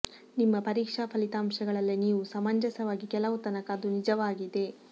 ನಿಮ್ಮ ಪರೀಕ್ಷಾ ಫಲಿತಾಂಶಗಳಲ್ಲಿ ನೀವು ಸಮಂಜಸವಾಗಿ ಕೆಲವು ತನಕ ಅದು ನಿಜವಾಗಿದೆ